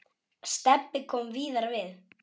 Stebbi kom víðar við.